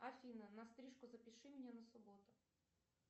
афина на стрижку запиши меня на субботу